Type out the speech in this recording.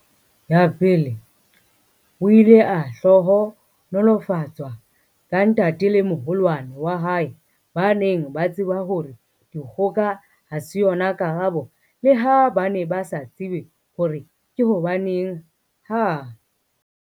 Ya pele, o ile a hlohonolofatswa ka ntate le moholwane wa hae ba neng ba tseba hore dikgoka ha se yona karabo leha ba ne ba sa tsebe hore ke hobaneng ha